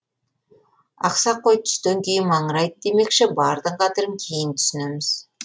ақсақ қой түстен кейін маңырайды демекші бардың қадірін кейін түсінеміз